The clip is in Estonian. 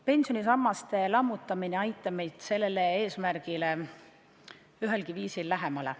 Pensionisammaste lammutamine ei aita meid sellele eesmärgile ühelgi viisil lähemale.